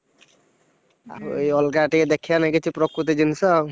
ଏଇ ଅଲଗା ଟିକେ ଦେଖିବା ନା କିଛି ପ୍ରକୃତି ଜିନିଷ ଆଉ।